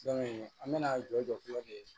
an bɛna jɔ jɔ cogo di